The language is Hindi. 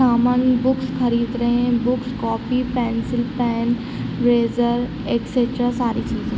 अमन बुक खरीद रहे है book copy pencil pen razor extra सारी चीजे ।